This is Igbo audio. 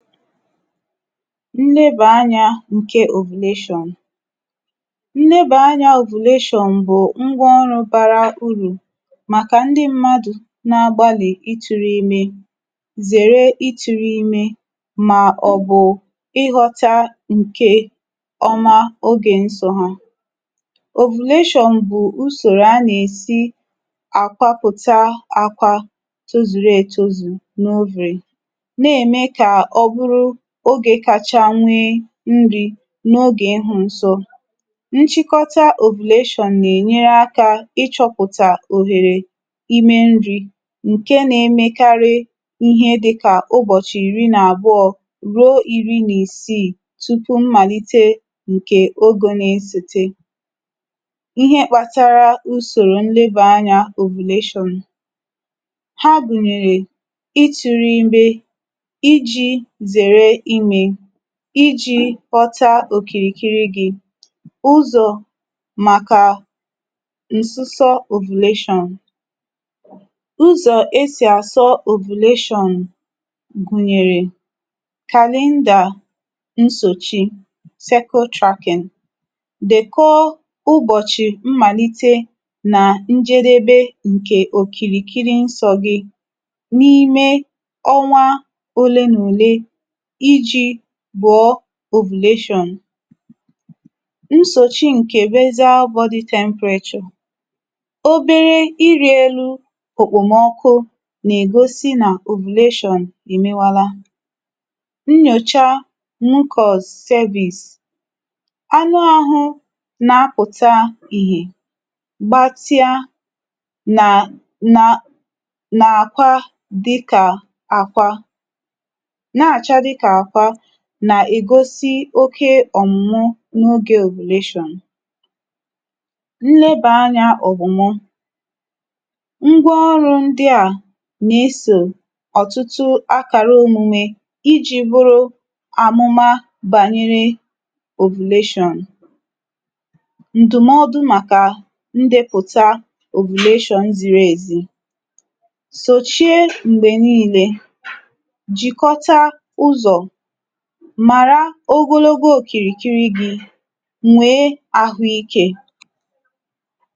nnebè anyā ǹke ovulation. nnebè anyā ovulation bụ̀ ngwa ọrụ bara urù màkà ndị mmadù na agbalị̀ itūru imē, zère itūru ime, mà ọ̀ bụ̀ ịghọ̄ta ǹkè ọma ogè nsọ̄ ha. ovulation bụ̀ usòrò a nà èsi àkwapụ̀ta akwa tozùru etozù nà ovary, nà ème kà ọ bụrụ ogē kacha nwẹ nrī, n’ogè ịhụ̄ nsọ. nchịkọta ovulation nà ẹ̀nyẹrẹ akā ị chọpụ̀tà òhèrè imẹ nrī, ǹkẹ na ẹmẹkarị ịhẹ dịkà ụbọ̀chị̀ ìri n’àbụọ̄ ruo iri n’isii, tupù mmàlite ǹkè ogō na esòte. ịhẹ kpatara usòrò ndị bụ anya ovulation. ha gùnyèrè, itụ̄rụ ime, ijī zère imē, ijī ghọta òkìrìkiri gị̄. ụzọ̀ màkà ǹsụsọ ovulation. ụzọ̀ e sì àsọ ovulation gùnyèrè calendar nsochi-cycle tracking. dẹ̀kọ ụbọ̀chị̀ mmàlite nà njedebe òkìrìkiri nsọ̄ gị̄, n’ime ọnwa olee nà òlee ijī bụ̀ọ ovulation. nsòchi ǹkẹ̀ basal body temperature. obere irī elu okpòmọkụ nà ègosi nà ovulation èmewala. nyòcha mucus cervix. anụ ahụ nà apụ̀ta ìhè, gbatia nà nà nà àkwa dịkà àkwa, nà àcha dịkà àkwa nà ègosi oke ọ̀mụ̀mụ n’ogē ovulation. nnebà anyā ọ̀gwụmọ. ngwa ọrụ̄ ndịà nà esò ọ̀tụtụ akàra omume, ijī bụrụ àmụma bànyere ovulation. ǹdụ̀mọdụ màkà ndēpụ̀ta ovulation ziri èzi. sòchie m̀gbè nille. jìkọta ụzọ̀. màra òkìrìkiri gī. nwèe ahụ ikē.